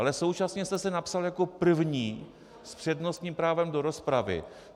Ale současně jste se napsal jako první s přednostním právem do rozpravy.